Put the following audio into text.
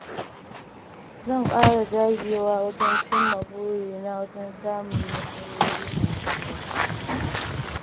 Zan ƙara dagewa wajen cimma burina domin samun nasarori masu yawa.